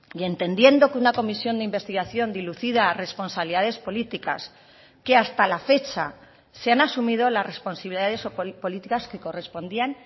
y entendiendo que una comisión de investigación dilucida a responsabilidades políticas que hasta la fecha se han asumido las responsabilidades o políticas que correspondían